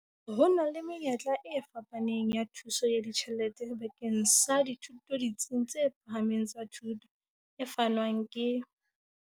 Ho na le menyetla e fapaneng ya thuso ya ditjhelete bakeng sa dithuto ditsing tse phahameng tsa thuto, e fanwang ke.